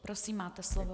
Prosím, máte slovo.